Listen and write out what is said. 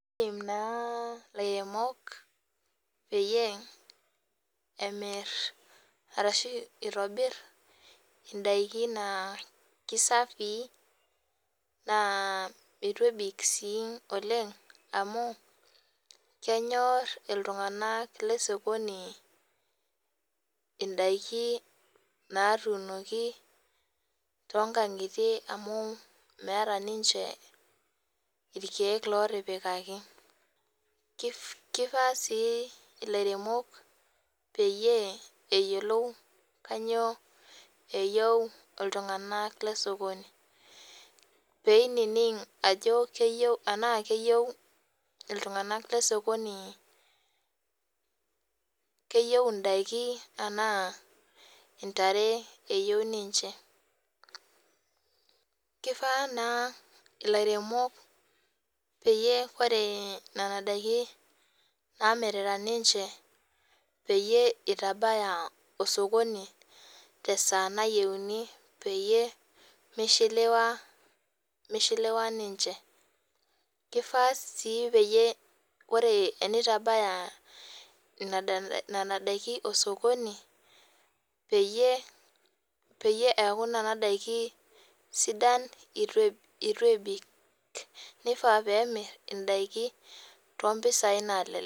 Idim naa ilairemok pemir arashu itobir indaiki naa kisafii naa eitu ebik sii oleng amu kenyor iltunganak lesokoni indaiki natuunoki toonkangitie amu meeta ninche irkiek lotipikaki. Kifaa sii ilairemok peyie eyiolou ajo kainyio eyieu iltunganak lesokoni peining enaa keyieu iltunganak lesokoni ,keyieu indaiki anaa intare eyieu ninche .Kifaa naa ilairemok peyie ore nena daiki namirita ninche peyie itabaya osokoni tesaa nayieuni peyie mishiliwa ninche. Kifaa sii peyie ore tenitabaya nena daiki osokoni peyie eaku nena daiki sidan eitu ebik nifaa pemir indaiki tompisai nalelek.